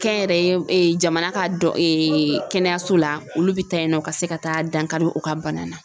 Kɛnyɛrɛye jamana ka dɔn kɛnɛyaso la olu bi taa yen nɔ ka se ka taa dankari u ka bana na.